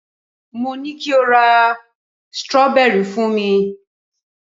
mo ni kio lo ra strawberry fún mi